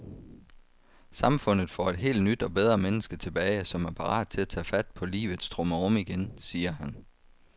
Samfundet får et helt nyt og bedre menneske tilbage, som er parat til at tage fat på livets trummerum igen, siger han.